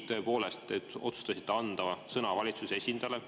Tõepoolest, te otsustasite anda sõna valitsuse esindajale.